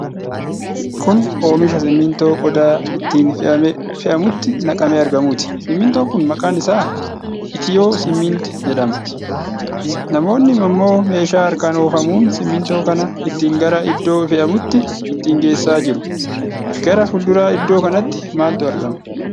Kun oomisha simintoo qodaa ittiin fe'amutti naqamee argamuuti. Simintoon kun maqaan isaa 'Itiyoo Simiint' jedhama. Namoonni ammoo meeshaa harkaan oofamuun simintoo kana ittiin gara iddoo fe'amutti ittiin geessaa jiru. Gara fuuldura iddoo kanaatti maaltu argama?